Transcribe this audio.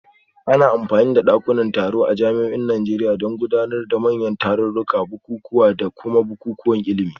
Ana amfani da dakunan taro a jami'o'in Najeriya don gudanar da manyan tarurruka, bukukuwa, da kuma bukukuwan ilimi